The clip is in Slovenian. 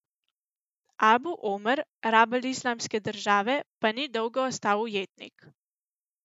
Abu Omer, rabelj Islamske države pa ni dolgo ostal ujetnik.